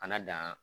Kana dan